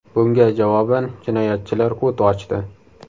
Bunga javoban jinoyatchilar o‘t ochdi.